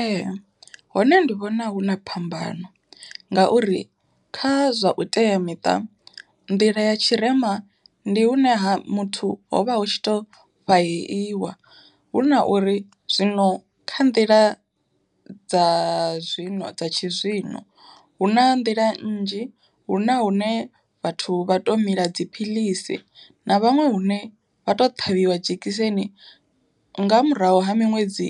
Ee hone ndi vhona huna phambano, ngauri kha zwa vhuteamiṱa. Nḓila ya tshirema ndi hune ha muthu hovha hu tshi to fhaheiwa huna uri, zwino kha nḓila dza zwino dza tshi zwino hu na nḓila nnzhi hu na hune vhathu vha to mila dziphilisi, na vhaṅwe hune vha to ṱhavhiwa dzhekiseni nga murahu ha miṅwedzi